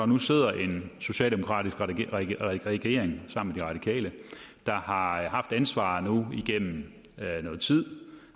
nu sidder en socialdemokratisk regering sammen med de radikale der har haft ansvaret igennem noget tid